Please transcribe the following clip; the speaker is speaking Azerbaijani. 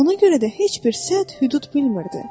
Ona görə də heç bir sərhəd-hüdud bilmirdi.